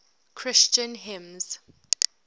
christian hymns